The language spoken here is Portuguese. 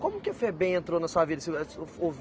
Como que a Febem entrou na sua vida?